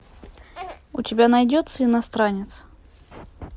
у тебя найдется иностранец